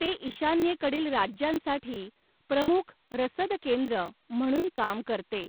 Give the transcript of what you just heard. ते ईशान्येकडील राज्यांसाठी प्रमुख रसद केंद्र म्हणून काम करते.